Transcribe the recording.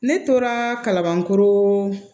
Ne tora kalabankoro